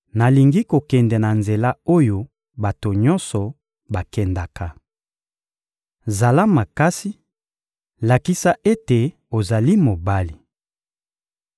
— Nalingi kokende na nzela oyo bato nyonso bakendaka. Zala makasi, lakisa ete ozali mobali.